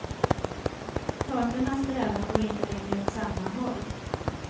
Parternas strävan går inte längre åt samma håll.